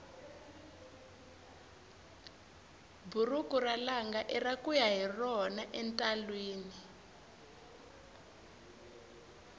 buruku ra langa ira kuya hi rona entalwini